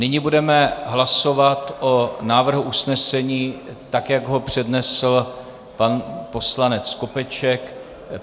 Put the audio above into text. Nyní budeme hlasovat o návrhu usnesení, tak jak ho přednesl pan poslanec Skopeček.